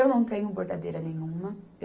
Eu não tenho bordadeira nenhuma.